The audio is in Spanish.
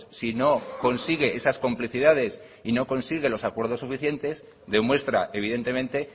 si no consigue esas complicidades y no consigue los acuerdos suficientes demuestra evidentemente